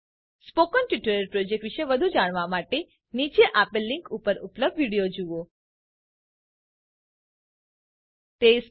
spoken tutorial project વિષે વધુ જાણવા માટે નીચે આપેલ લીંક ઉપર ઉપલબ્ધ વિડીઓ જુઓ spoken tuitorialorgવ્હાટ ઇસ એ spoken ટ્યુટોરિયલ